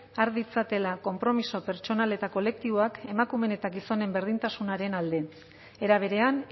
har ditzatela konpromiso pertsonal eta kolektiboak emakumeen eta gizonen berdintasunaren alde era berean